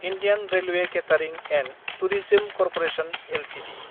Indian railway catering & tourism corporation Ltd